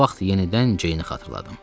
O vaxt yenidən Ceyni xatırladım.